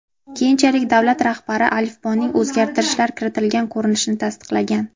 Keyinchalik davlat rahbari alifboning o‘zgartirishlar kiritilgan ko‘rinishini tasdiqlagan.